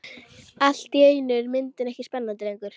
Allt í einu er myndin ekki spennandi lengur.